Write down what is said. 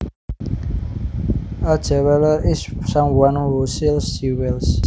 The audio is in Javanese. A jeweler is someone who sells jewels